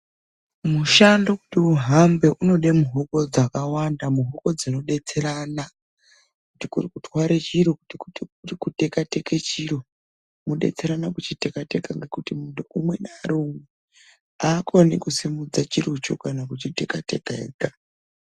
Mushando kuti uhambe unoda muhoko dzakawanda. Muhoko dzinodetserana. Kuti kuri kutware chiro, kuti kuri kutekateka chiro mwodetserana kuchitekateka, ngekuti muntu umwe aakoni kusimudza chirocho kana kuchiteka teka ega.